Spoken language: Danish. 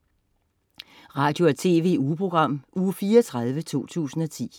Radio- og TV-ugeprogram Uge 34, 2010